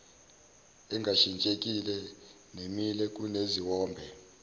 engashintsheki nemile kuneziwombe